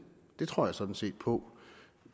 det tror jeg sådan set på